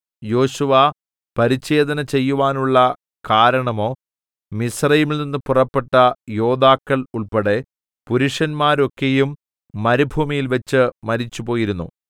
യോശുവ പരിച്ഛേദന ചെയ്‌വാനുള്ള കാരണമോ മിസ്രയീമിൽനിന്ന് പുറപ്പെട്ട യോദ്ധാക്കൾ ഉൾപ്പെടെ പുരുഷന്മാരൊക്കെയും മരുഭൂമിയിൽവച്ച് മരിച്ചുപോയിരുന്നു